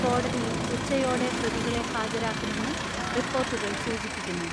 കോടതി യിൽ ഉച്ചയോടെ പ്രതികളെ ഹാജരാക്കുമെന്ന് റിപ്പോർട്ടുകൾ സൂചിപ്പിക്കുന്നു.